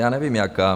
Já nevím jaká.